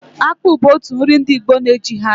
Akpụ bu otu nri ndị Igbo na-ejighi achị.